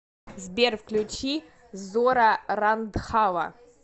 сбер включи зора рандхава